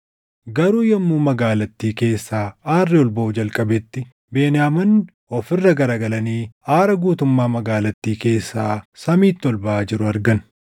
Garuu yommuu magaalattii keessaa aarri ol baʼuu jalqabetti Beniyaamonni of irra garagalanii aara guutummaa magaalattii keessaa samiitti ol baʼaa jiru argan.